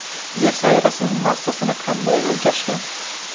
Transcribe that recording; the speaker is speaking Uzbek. Yer sayyorasining massasini qanday o‘lchashgan?.